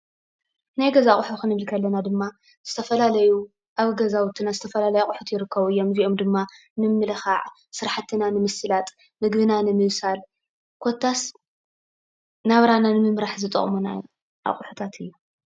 ናይ ገዛ ኣቁሑ ክንብል ከለና ድማ ዝተፈላለዩ ኣብ ገዛውትና ዝተፈላለዩ ኣቁሑት ይርከቡ እዮም። እዚኦም ድማ ምምልካዕ ስራሕትናን ንምስላጥ ምግብና ንምብሳል ኮታስ ናብራና ንምምራሕ ዝጠቅሙና ኣቁሑታት እዮም።